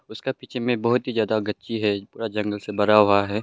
उसका पीछे में बहुत ही ज्यादा गच्ची है पूरा जंगल से भरा हुआ है।